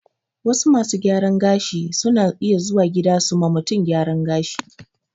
Wasu masu gyaran gashin suna iya zuwa gida su ma mutum gyaran gashi